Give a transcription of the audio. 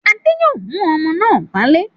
Adé yóò mú ọmọ náà wálé.